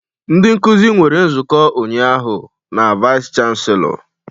Ndị nkuzi nwere nzukọ ụnyaahụ na Vice Chancellor